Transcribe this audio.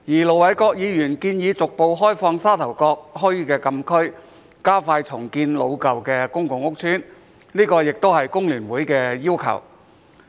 盧偉國議員建議逐步開放沙頭角墟的禁區，加快重建老舊的公共屋邨，這個也是工聯會的要求。